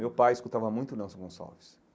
Meu pai escutava muito Nelson Gonçalves.